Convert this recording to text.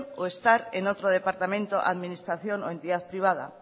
o estar en otro departamento administración o entidad privada